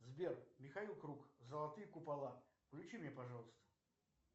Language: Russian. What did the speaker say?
сбер михаил круг золотые купола включи мне пожалуйста